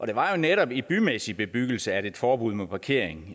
det var jo netop i bymæssig bebyggelse at et forbud mod parkering